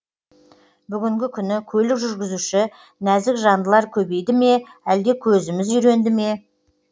бүгінгі күні көлік жүргізуші нәзік жандылар көбейді ме әлде көзіміз үйренді ме